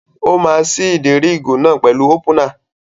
Ó máa ṣí ìdérí ìgò náà pẹ̀lú ópúnà.